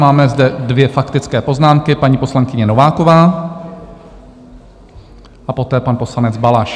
Máme zde dvě faktické poznámky - paní poslankyně Nováková a poté pan poslanec Balaš.